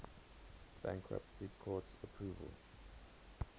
bankruptcy court's approval